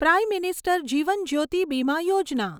prime minister Jeevan Jyoti Bima Yojana